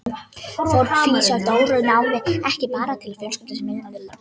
Fórnfýsi Dóru náði ekki bara til fjölskyldu minnar í Skjólunum.